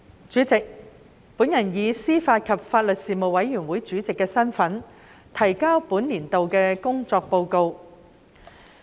主席，我以司法及法律事務委員會主席身份，提交本年度的工作報告。